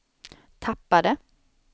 tappade